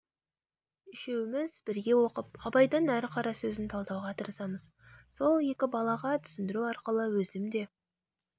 үшеуміз бірге оқып абайдың әр қарасөзін талдауға тырысамыз сол екі балаға түсіндіру арқылы өзім де